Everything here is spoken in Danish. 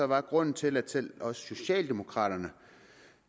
var grunden til at til at også socialdemokraterne